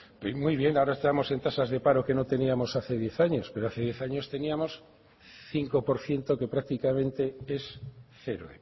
muy bien ahora estamos en tasas de paro que no teníamos hace diez años pero hace diez años teníamos cinco por ciento que prácticamente es cero